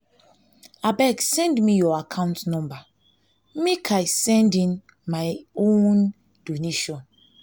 abeg send me your account number make i send in my own donation